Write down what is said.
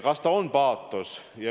Kas see on paatos?